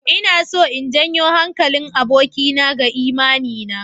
Ina so in janyo hankalin abokina ga imani na.